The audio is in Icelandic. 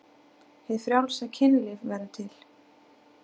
Hið frjálsa kynlíf verður til.